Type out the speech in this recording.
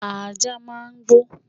Ajá máà ń gbó